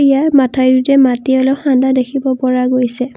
ইয়াৰ মথাউৰিটোৱে মাটি অলপ খান্দা দেখিব পৰা গৈছে।